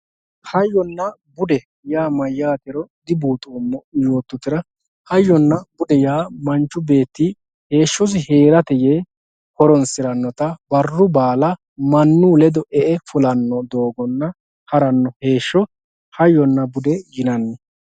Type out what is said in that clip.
hayyonna bude yaa mayaatero dibuuxoomo yototera hayyonna bude yaa manchu beetti heeshosi heerate yee horonsirannota barru baala manuu ledo e"e fulanno doogonna haranno heesho hayyonna bude yinanni.